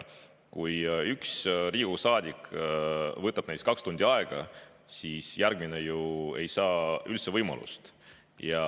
Kui ühel Riigikogu saadikul läheb kaks tundi aega, siis järgmine ei saa ju üldse võimalust.